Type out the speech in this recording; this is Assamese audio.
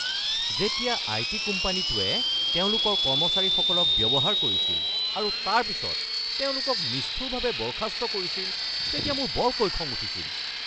যেতিয়া আইটি কোম্পানীটোয়ে তেওঁলোকৰ কৰ্মচাৰীসকলক ব্যৱহাৰ কৰিছিল আৰু তাৰ পিছত তেওঁলোকক নিষ্ঠুৰভাৱে বৰ্খাস্ত কৰিছিল তেতিয়া মোৰ বৰকৈ খং উঠিছিল।